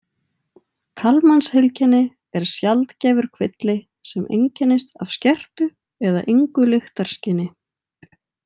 Kallmansheilkenni er sjaldgæfur kvilli sem einkennist af skertu eða engu lyktarskyni.